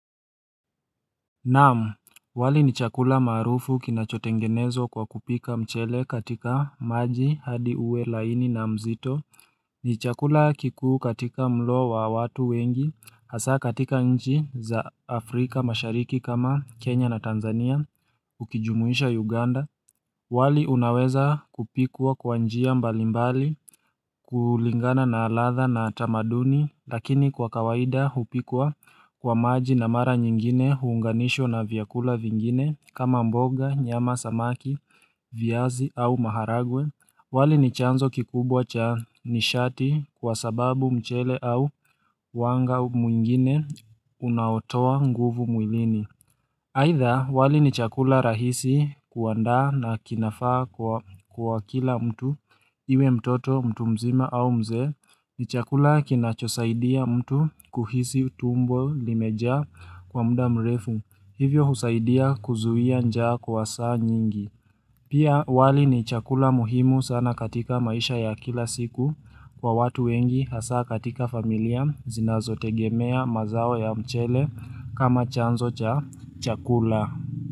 Na'am, wali ni chakula maarufu kinachotengenezwa kwa kupika mchele katika maji hadi uwe laini na mzito. Ni chakula kikuu katika mlo wa watu wengi hasa katika nchi za Afrika mashariki kama Kenya na Tanzania ukijumuisha Uganda. Wali unaweza kupikwa kwa njia mbalimbali kulingana na ladha na tamaduni lakini kwa kawaida hupikwa kwa maji na mara nyingine huunganishwa na vyakula vingine kama mboga, nyama, samaki, viazi au maharagwe. Wali ni chanzo kikubwa cha nishati kwa sababu mchele au wanga mwingine unaotoa nguvu mwilini. Aidha, wali ni chakula rahisi kuandaa na kinafaa kwa kila mtu, iwe mtoto, mtu mzima au mzee, ni chakula kinachosaidia mtu kuhisi tumbo limejaa kwa muda mrefu, hivyo husaidia kuzuia njaa kwa saa nyingi. Pia wali ni chakula muhimu sana katika maisha ya kila siku kwa watu wengi hasa katika familia zinazotegemea mazao ya mchele kama chanzo cha chakula.